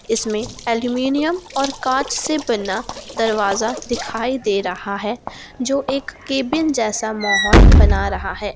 इसमें एल्यूमीनियम और कांच से बना दरवाजा दिखाई दे रहा है जो एक केबिन जैसा माहौल बना रहा है।